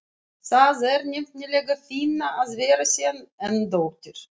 Það er nefnilega fínna að vera sen en dóttir.